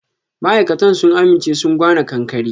Ma'aikatan sun aminche sun gwana ƙanƙare.